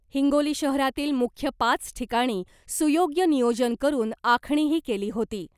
हिंगोली शहरातील मुख्य पाच ठिकाणी सुयोग्य नियोजन करून आखणीही केली होती .